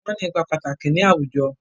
Wọ́n ní ipa pàtàkì ní àwùjọ.